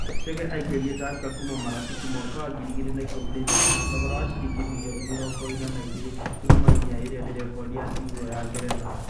Chege aingĩrire Tursker kuuma Marafiki mwaka wa 2013 na thogora wa ciringi mirioni mĩrongo ĩna na igĩrĩ turuma inya iria ni rekondi ya timu ĩyo ya ngeretha.